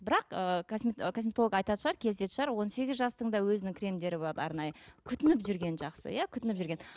бірақ ыыы косметолог айтатын шығар келісетін шығар он сегіз жастың да өзінің кремдері болады арнайы күтініп жүрген жақсы иә күтініп жүрген